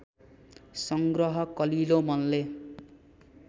संग्रह कलिलो मनले